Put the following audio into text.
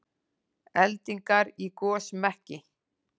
Eldingar í gosmekki